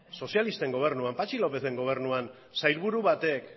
sozialisten gobernuan patxi lópezen gobernuan sailburu batek